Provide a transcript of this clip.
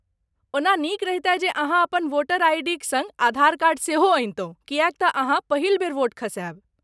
ओना नीक रहितए जे अहाँ अपन वोटर आईडीक सङ्ग आधार कार्ड सेहो अनितहुँ, किएक तँ अहाँ पहिल बेर वोट खसायब।